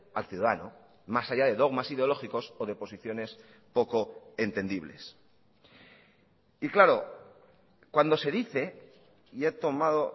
al ciudadano más allá de dogmas ideológicos o de posiciones poco entendibles y claro cuando se dice y he tomado